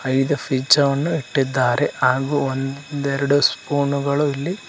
ಇಲ್ಲಿ ಪಿಜ್ಜಾವನ್ನು ಇಟ್ಟಿದ್ದಾರೆ ಹಾಗೂ ಒಂದೆರಡು ಸ್ಪೂನುಗಳು ಇಲ್ಲಿ--